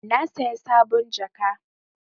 Na saya sabon jaka.